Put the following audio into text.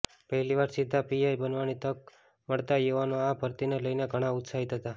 પહેલી વાર સીધા પીઆઈ બનવાની તક મળતા યુવાનો આ ભરતીને લઈને ઘણા ઉત્સાહિત હતા